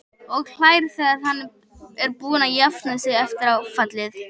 Og hlær þegar hann er búinn að jafna sig eftir áfallið.